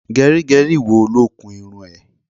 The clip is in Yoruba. Gẹrígẹrí wo ló kun irun ẹ?